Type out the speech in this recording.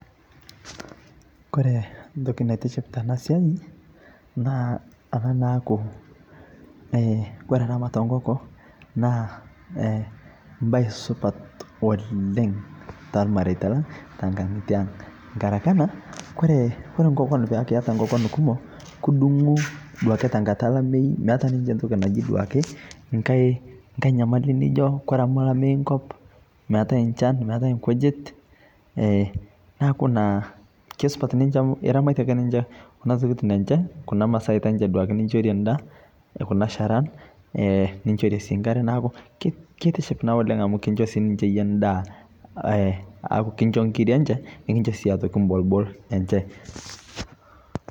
kore ntoki naitiship tanaa siai naa anaa naaku kore ramat e nkokoo naa mbai supat oleng talmareita lang tankangitee aang ngarake anaa kore nkokon peaku iata nkokon kumoo kudungu duake tankata duake elameyuu meata ninshe ntoki naji duakee nghai nyamali nijo kore amu lameyu nkop meatai nchan meatai nkujit naaku naa keisupat ninshe amu iramatie ake kuna tokitin enshe kuna masaitaa duake ninshorie ndaa kuna sharaan ninshorie sii nkaree naaku kintiship naa oleng amu kinshoo sii yie ninshe ndaa aaku kinsho nkirii enshee nikinsho sii otokii mbolbol enshee